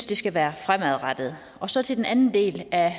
det skal være fremadrettet så til den anden del af